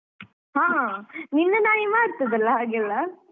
ಹಾ ನಿನ್ನ ನಾಯಿ ಮಾಡ್ತದಲ್ಲ ಹಾಗೆಲ್ಲ?